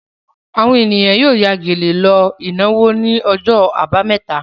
Àwọn ènìyàn yóò ya gèlè lọ ìnáwó ní ọjọ́ àbámẹ́ta.